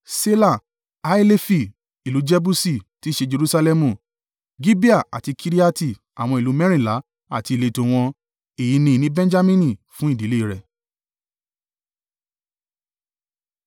Ṣela, Haelefi, ìlú Jebusi (tí í ṣe Jerusalẹmu), Gibeah àti Kiriati, àwọn ìlú mẹ́rìnlá àti ìletò wọn. Èyí ni ìní Benjamini fún ìdílé rẹ̀.